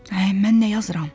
Ay, mən nə yazıram?